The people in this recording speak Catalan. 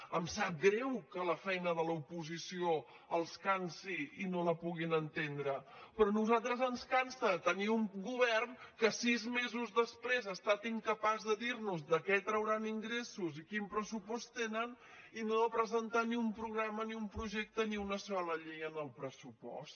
ens sap greu que la feina de l’oposició els cansi i no la puguin entendre però a nosaltres ens cansa tenir un govern que sis mesos després ha estat incapaç de dirnos de què trauran ingressos i quin pressupost tenen i de no presentar ni un programa ni un projecte ni una sola llei en el pressupost